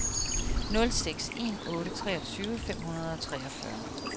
nul seks en otte treogtyve fem hundrede og treogfyrre